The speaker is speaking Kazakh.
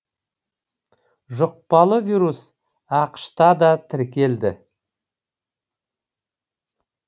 жұқпалы вирус ақш та да тіркелді